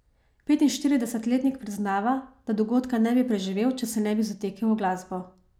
Petinštiridesetletnik priznava, da dogodka ne bi preživel, če se ne bi zatekel v glasbo.